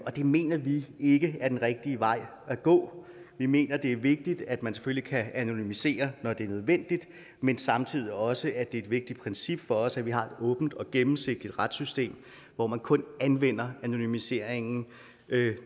og det mener vi ikke er den rigtige vej at gå vi mener det er vigtigt at man selvfølgelig kan anonymisere når det er nødvendigt men samtidig er det også et vigtigt princip for os at vi har et åbent og gennemsigtigt retssystem hvor man kun anvender anonymisering